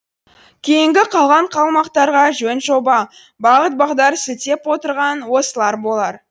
кейінгі қалған қалмақтарға жөн жоба бағыт бағдар сілтеп отырған осылар болар